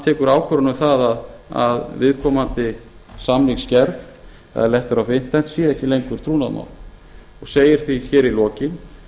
tekur ákvörðun um það að viðkomandi samningsgerð eða letter of sé ekki lengur trúnaðarmál og segir því hér í lokin